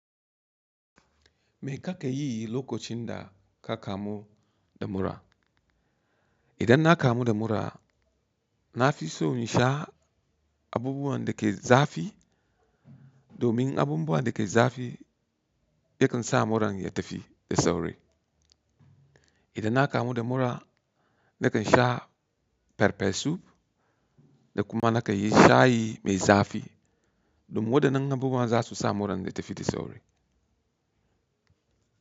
Me ka kan yi lokacin da ka kamu da mura? Idan na kamu da mura, na fi so in sha abubuwan da ke zafi domin abubuwan da ke zafi yakan sa muran ya tafi da sauri. Idan na kamu da mura, na kan sha pepper soup da kuma na kan yi shayi mai zafi domin waɗannan abubuwa za su sa muran ya tafi da sauri.